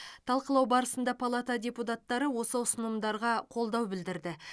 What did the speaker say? талқылау барысында палата депутаттары осы ұсынымдарға қолдау білдірді